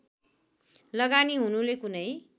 लगानी हुनुले कुनै